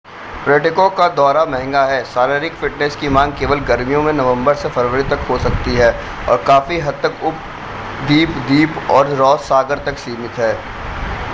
पर्यटकों का दौरा महंगा है शारीरिक फ़िटनेस की मांग केवल गर्मियों में नवंबर से फ़रवरी तक हो सकती है और काफी हद तक उपद्वीप द्वीप और रॉस सागर तक सीमित हैं